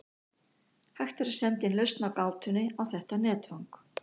Hægt er að senda inn lausn á gátunni á þetta netfang.